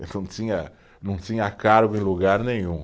Eu não tinha, não tinha cargo em lugar nenhum.